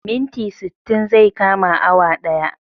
Minti sittin zai kama awa daya